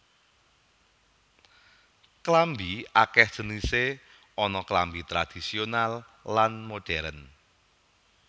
Klambi akèh jenisé ana klambi tradhisional lan modhèrn